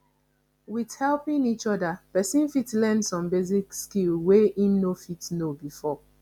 with helping each oda person fit learn some basic skill wey im no know before